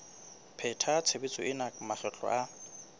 pheta tshebetso ena makgetlo a